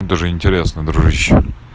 даже интересно дружище